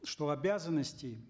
что обязанностей